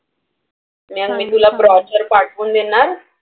मी आणि मी तुला brochure पाठवून देणार.